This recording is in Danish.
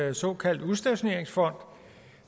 en såkaldt udstationeringsfond